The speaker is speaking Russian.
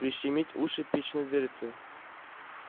прищемить уши печной дверцей